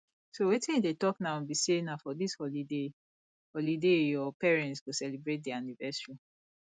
so wetin you dey talk now be say na for dis holiday holiday your parents go celebrate their anniversary